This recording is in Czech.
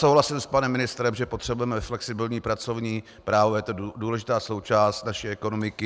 Souhlasím s panem ministrem, že potřebujeme flexibilní pracovní právo, je to důležitá součást naší ekonomiky.